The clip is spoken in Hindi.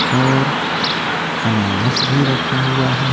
और अनानस भी रखा हुआ है।